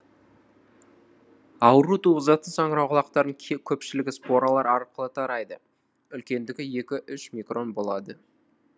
ауру туғызатын саңырауқұлақтардың көпшілігі споралар арқылы тарайды үлкендігі екі үш микрон болады